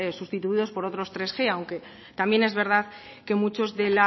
sustituidos por otros hirug aunque también es verdad que muchos de